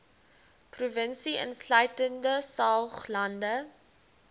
provinsie insluitende saoglande